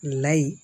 Layi